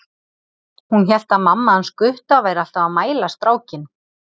Hún hélt að mamma hans Gutta væri alltaf að mæla strákinn.